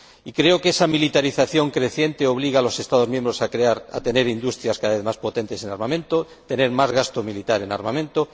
Creo que esa militarización creciente obliga a los Estados miembros a tener industrias cada vez más potentes en armamento, a tener más gasto militar en armamento.